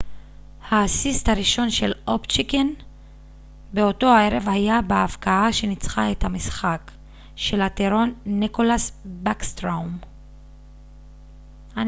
האסיסט הראשון של אובצ'קין באותו ערב היה בהבקעה שניצחה את המשחק של הטירון ניקלאס בקסטרום